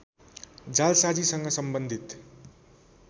जालसाजीसँग सम्बन्धित